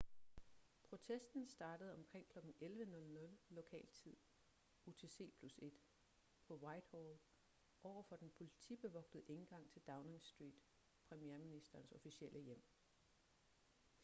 protesten startede omkring kl. 11:00 lokal tid utc+1 på whitehall overfor den politibevogtede indgang til downing street premierministerens officielle hjem